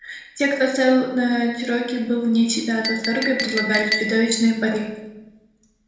те кто ставил на чероки были вне себя от восторга и предлагали чудовищные пари